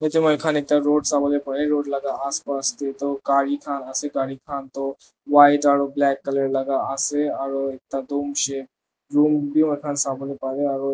Etu moi khan root sa bo le pare root laka as pas tey tue gare khan ase gare khan toi white aro black colour la ka ase aro ekda room bei moi khan so bo le pare aro.